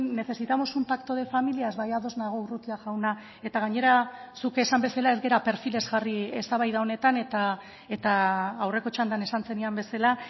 necesitamos un pacto de familias bai ados nago urrutia jauna eta gainera zuk esan bezala ez gara perfilez jarri eztabaida honetan eta aurreko txandan esan zenidan bezala